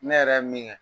Ne yɛrɛ ye min kɛ